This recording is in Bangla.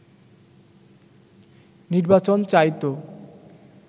নির্বাচন চাইতো